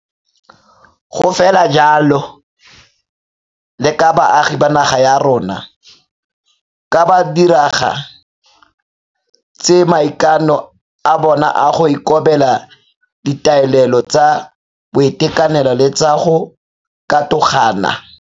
Go fela jaalo le ka baagi ba naga ya rona ka ba diraga ditse maikano a bona a go ikobela ditaolelo tsa boitekanelo le tsa go katogana.